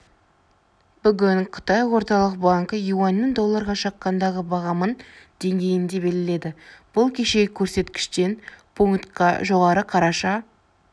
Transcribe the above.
бүгін қытай орталық банкі юаньнің долларға шаққандағы бағамын деңгейінде белгіледі бұл кешегі көрсеткіштен пунктқа жоғары қараша